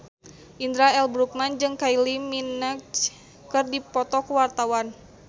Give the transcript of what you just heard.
Indra L. Bruggman jeung Kylie Minogue keur dipoto ku wartawan